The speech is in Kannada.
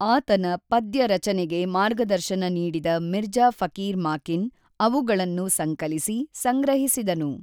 ಆತನ ಪದ್ಯರಚನೆಗೆ ಮಾರ್ಗದರ್ಶನ ನೀಡಿದ ಮಿರ್ಜಾ ಫಕೀರ್ ಮಾಕಿನ್, ಅವುಗಳನ್ನು ಸಂಕಲಿಸಿ, ಸಂಗ್ರಹಿಸಿದನು.